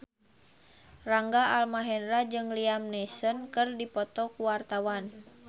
Rangga Almahendra jeung Liam Neeson keur dipoto ku wartawan